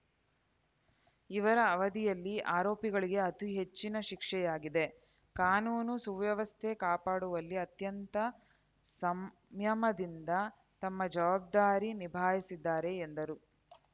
ಇವರ ಅವಧಿಯಲ್ಲಿ ಆರೋಪಿಗಳಿಗೆ ಅತಿ ಹೆಚ್ಚಿನ ಶಿಕ್ಷೆಯಾಗಿದೆ ಕಾನೂನು ಸುವ್ಯವಸ್ಥೆ ಕಾಪಾಡುವಲ್ಲಿ ಅತ್ಯಂತ ಸಂಯಮದಿಂದ ತಮ್ಮ ಜವಾಬ್ದಾರಿ ನಿಭಾಯಿಸಿದ್ದಾರೆ ಎಂದರು